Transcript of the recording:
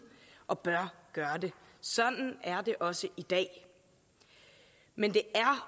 og bør gøre det sådan er det også i dag men det er